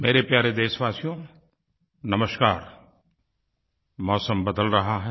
मेरे प्यारे देशवासियो नमस्कार मौसम बदल रहा है